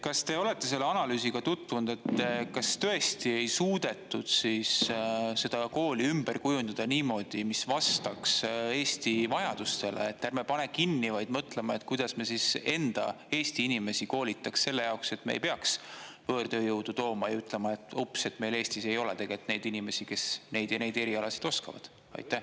Kas te olete selle analüüsiga tutvunud, et kas tõesti ei suudetud siis seda kooli ümber kujundada niimoodi, mis vastaks Eesti vajadustele, et ärme paneme kinni, vaid mõtleme, kuidas me enda, Eesti inimesi koolitaks selle jaoks, et me ei peaks võõrtööjõudu tooma ja ütlema, et oops, meil Eestis ei ole neid inimesi, kes neid ja neid erialasid oskavad?